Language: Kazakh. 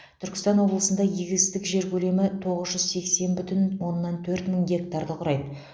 түркістан облысында егістік жер көлемі тоғыз жүз сексен бүтін оннан төрт мың гектарды құрайды